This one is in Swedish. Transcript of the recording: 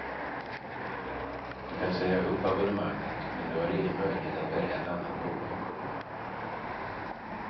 Du kan säga upp abonnemanget, men du har ingen möjlighet att välja ett annat bolag.